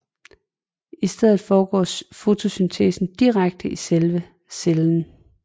I stedet foregår fotosyntesen direkte i selve cellen